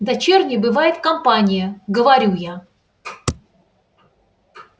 дочерней бывает компания говорю я